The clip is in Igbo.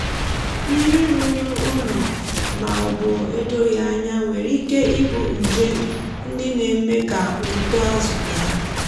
mmiri rụrụ unyi ma ọ bụ edoghì anya nwere ike ibu nje ndị na-eme ka uto azụ daa.